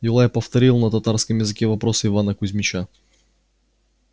юлай повторил на татарском языке вопрос ивана кузмича